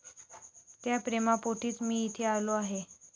त्या प्रेमापोटीच मी इथे आलो आहे.